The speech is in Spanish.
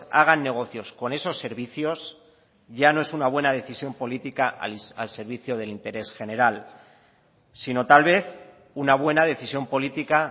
hagan negocios con esos servicios ya no es una buena decisión política al servicio del interés general sino tal vez una buena decisión política